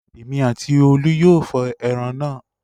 Èmi àti Olú yóò fọ ẹran náà.